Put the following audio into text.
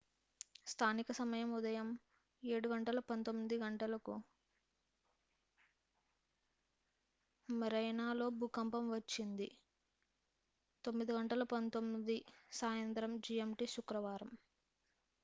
స్థానిక సమయం ఉదయం 07:19 గంటలకు marianaలో భూకంపం వచ్చింది 09:19 p.m. gmt శుక్రవారం